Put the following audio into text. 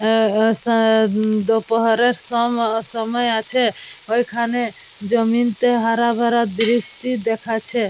আর সায়েদ দোপাহের সম সময় আছে ওখানে জমিনতে হারা -ভারা দৃষ্টি দেখাচ্ছে।